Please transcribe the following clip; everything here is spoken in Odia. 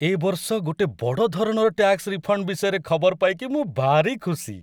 ଏ ବର୍ଷ ଗୋଟେ ବଡ଼ ଧରଣର ଟ୍ୟାକ୍ସ ରିଫଣ୍ଡ ବିଷୟରେ ଖବର ପାଇକି ମୁଁ ଭାରି ଖୁସି ।